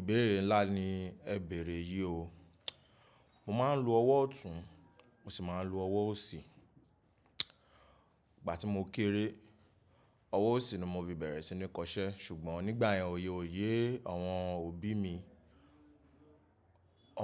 Ìbéèrè ńlá ni ẹ̀ bẹ̀rẹ̀ yìí o. Mo máa ń lo ọwọ́ ọ̀tún, mo sì máa ń lo ọwọ́ òsì. Ìgbà tí mo kéré, ọwọ́ òsì ni mo fi bẹ̀rẹ̀ sí ní kọṣẹ́ ṣùgbọ́n nígbà yẹn oyè ò yé àwọn òbí mi,